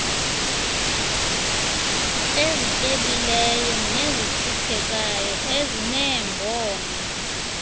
ezityebileyo nezihluphekayo ezineembono